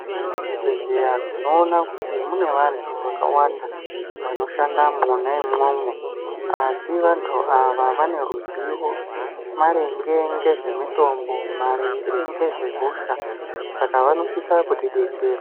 Muzvibhedhlera tinoona kuti mune vantu vakawanda vanoshanda mwona imomo asi vantu ava vane ruzivo maringe nezve mitombo maringe nezvehosha Saka vanosisa kuti veidetsereka.